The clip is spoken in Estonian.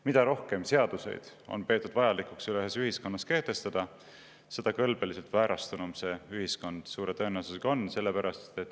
Mida rohkem seaduseid on peetud vajalikuks ühiskonnas kehtestada, seda kõlbeliselt väärastunum see ühiskond suure tõenäosusega on.